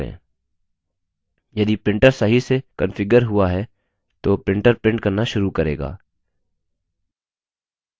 यदि printer सही से कन्फिग्यर हुआ है तो printer printer करना शुरू करेगा